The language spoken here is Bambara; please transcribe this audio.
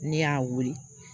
Ne y'a weele